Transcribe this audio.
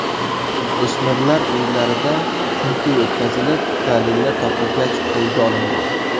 O‘smirlar uylarida tintuv o‘tkazilib, dalillar topilgach, qo‘lga olingan.